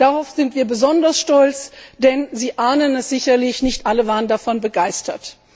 Darauf sind wir besonders stolz, denn Sie ahnen es sicherlich nicht alle waren davon begeistert.